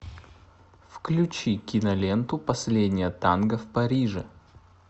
включи киноленту последнее танго в париже